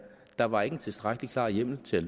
der var ikke en tilstrækkelig klar hjemmel til at